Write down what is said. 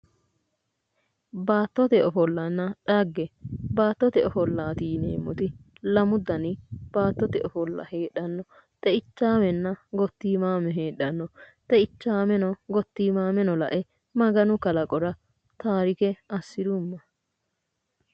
Baattote ofollanna dhagge. Baattote ofollaati yineemmoti lamu dani baattote ofolla heedhanno. Xeichaamenna gottiimaame heedhanno. Xeichaameno gottiimaameno lae maganu kalaqora taarike assirumma.